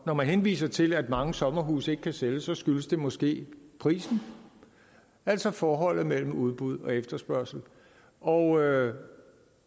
når man henviser til at mange sommerhuse ikke kan sælges skyldes det måske prisen altså forholdet mellem udbud og efterspørgsel og